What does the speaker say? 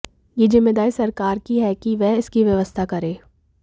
यह जिम्मेदारी सरकार की है कि वह इसकी व्यवस्था करे